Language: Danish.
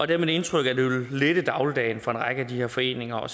det er mit indtryk at det vil lette dagligdagen for en række af de her foreninger og